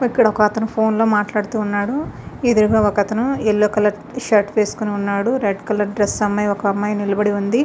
అక్కడ వక అతను ఫోన్ మాట్లాడుతున్నడు. ఏదురగా వక అతను యెల్లో కలర్ షార్ట్ వేసోకొని ఉనాడు. వక అమ్మాయి రెడ్ కలర్ డ్రెస్ వెసోకొని ఒక అమ్మాయి నిలబడి ఉంది.